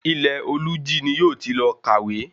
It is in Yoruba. Ilẹ̀-olújí ni yóò ti lọ kàwé